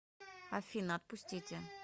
афина отпустите